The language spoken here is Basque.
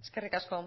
eskerrik asko